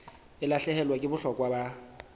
e lahlehelwa ke bohlokwa ba